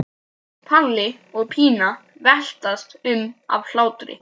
Palli og Pína veltast um af hlátri.